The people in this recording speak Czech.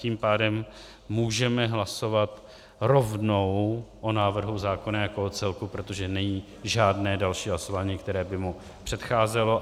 Tím pádem můžeme hlasovat rovnou o návrhu zákona jako o celku, protože není žádné další hlasování, které by mu předcházelo.